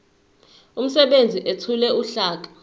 umsebenzi ethule uhlaka